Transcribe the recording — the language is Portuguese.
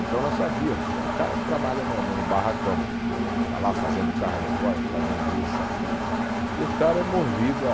Então nós sabíamos, tem um cara que trabalha no no barracão, está lá fazendo carro alegórico, fazendo isso, aquilo, e o cara é movido a